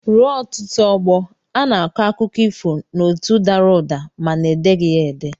Ruo ọtụtụ ọgbọ, a na-akọ akụkọ ifo n'olu dara ụda mana edeghị ya ede.